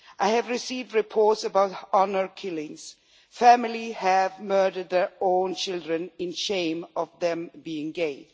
I have received reports about honour killings families have murdered their own children in shame of their being gay.